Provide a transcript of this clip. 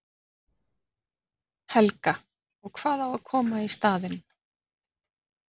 Helga: Og hvað á að koma í staðinn?